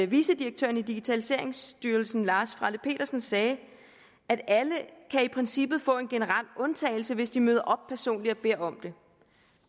vicedirektøren i digitaliseringsstyrelsen lars frelle petersen sagde at alle i princippet kan få en generel undtagelse hvis de møder op personligt og beder om det